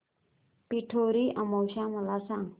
पिठोरी अमावस्या मला सांग